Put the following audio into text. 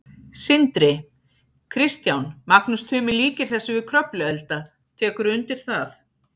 Sindri: Kristján, Magnús Tumi líkir þessu við Kröfluelda, tekurðu undir það?